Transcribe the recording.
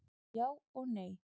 Já og nei.